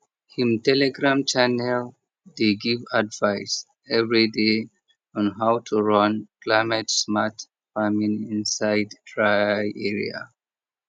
him telegram channel dey give advice everyday on how to run climatesmart farming inside dry area